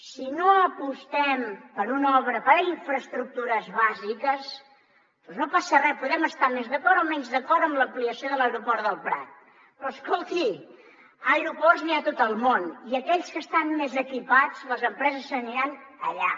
si no apostem per una obra per infraestructures bàsiques doncs no passa res podem estar més d’acord o menys d’acord amb l’ampliació de l’aeroport del prat però escolti aeroports n’hi ha a tot el món i aquells que estan més equipats les empreses se n’aniran allà